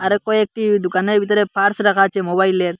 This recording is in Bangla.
আরও কয়েকটি দুকানের ভিতরে পার্স রাখা আছে মোবাইলের।